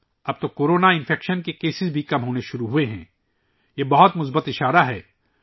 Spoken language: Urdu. اب کورونا انفیکشن کے کیسز بھی کم ہونے لگے ہیں یہ ایک بہت ہی مثبت علامت ہے